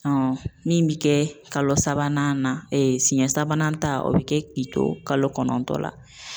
Ɔ min bɛ kɛ kalo sabanan na e siɲɛ sabanan ta o bɛ kɛ k'i to kalo kɔnɔntɔn la.